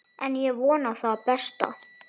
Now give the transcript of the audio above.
En ég vona það besta.